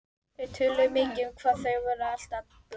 Þau töluðu mikið um það hvað þau væru alltaf blönk.